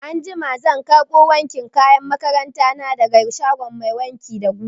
Anjima zan karɓo wankin kayan makaranta na daga shagon mai wanki da guga.